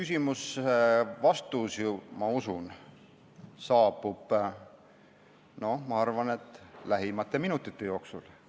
Ja see vastus, ma usun, saabub lähimate minutite jooksul.